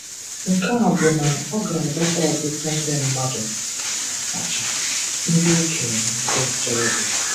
Nke a bụ na ọ ga-adọta ọtụtụ ndị mmadụ, ọ kacha ndị okenye na ndị ntorobịa